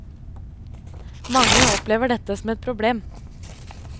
Mange opplever dette som et problem.